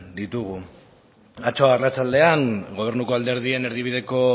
ditugun atzo arratsaldean gobernuko alderdien erdibideko